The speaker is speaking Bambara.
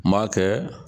N m'a kɛ